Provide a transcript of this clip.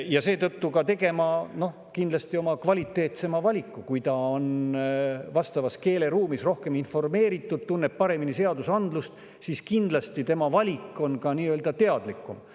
Kindlasti teeksid seetõttu kvaliteetsema valiku: kui nad on vastavas keeleruumis rohkem informeeritud, tunnevad paremini seadusandlust, siis on ka nende valik nii-öelda teadlikum.